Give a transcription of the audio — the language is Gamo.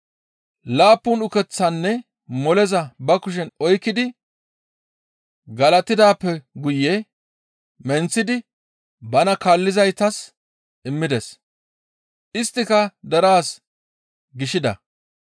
Laappun ukeththaanne moleza ba kushen oykkidi galatidaappe guye menththidi bana kaallizaytas immides; isttika deraas gishida.